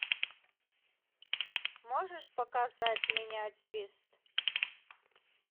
можешь показать миниатюрист